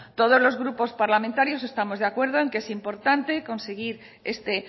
todos los grupos parlamentarios estamos de acuerdo en que es importante conseguir este